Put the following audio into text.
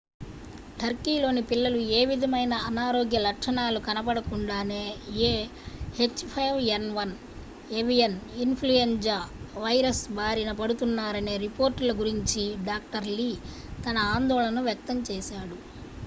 turkeyలోని పిల్లలు ఏ విధమైన అనారోగ్య లక్షణాలు కనపడకుండానే ah5n1 avian influenza virus బారిన పడుతున్నారనే రిపోర్ట్‌ల గురించి dr. lee తన ఆందోళనను వ్యక్తం చేశాడు